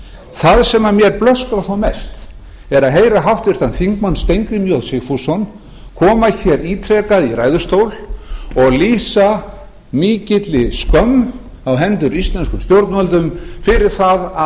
það sem mér blöskrar þó mest er að heyra háttvirtan þingmann steingrím j sigfússon koma hér ítrekað í ræðustól og lýsa mikilli skömm á hendur stjórnvöldum fyrir það að